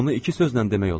Bunu iki sözlə demək olar.